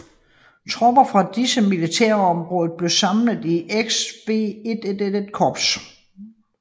Tropper fra disse militærområder blev samlet i XVIII Korps